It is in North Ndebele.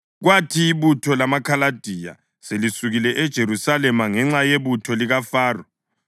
Kwathi ibutho lamaKhaladiya selisukile eJerusalema ngenxa yebutho likaFaro,